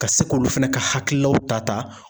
Ka se k'olu fana ka hakililaw ta ta.